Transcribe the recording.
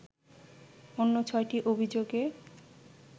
অন্য ছয়টি অভিযোগে